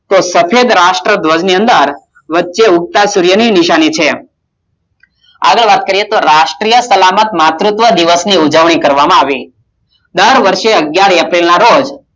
તો સફેદ રાષ્ટ્રધ્વજ ની અંદર વચ્ચે ઉગતો સૂર્ય ની નિશાની છે આગળ વાત કરીયે તો રાષ્ટિય સલામત માર્તુત્વ દિવસ ની ઉજવણી કરવામાં આવી. દર વર્ષે અગિયાર એપ્રિલ ના રોજ